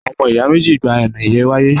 Àwọn ọmọ ìyá méjì gba àmì ẹ̀yẹ wálé